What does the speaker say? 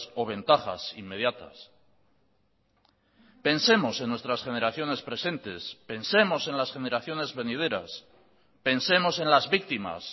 o ventajas inmediatas pensemos en nuestras generaciones presentes pensemos en las generaciones venideras pensemos en las víctimas